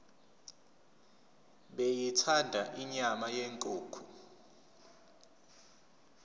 beyithanda inyama yenkukhu